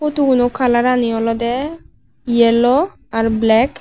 photo gano colour ani olodeh yellow ar black.